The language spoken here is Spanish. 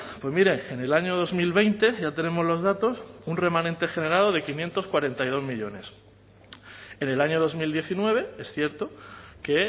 pues mire en el año dos mil veinte ya tenemos los datos un remanente generado de quinientos cuarenta y dos millónes en el año dos mil diecinueve es cierto que